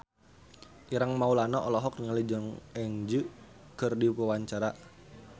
Ireng Maulana olohok ningali Jong Eun Ji keur diwawancara